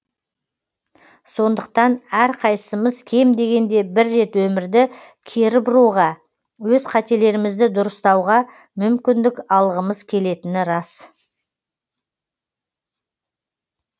сондықтан әрқайсымыз кем дегенде бір рет өмірді кері бұруға өз қателерімізді дұрыстауға мүмкіндік алғымыз келетіні рас